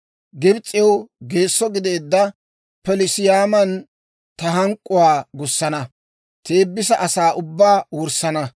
Gibs'ew geesso gideedda Pelusiyaaman ta hank'k'uwaa gussana; Teebisa asaa ubbaa wurssana.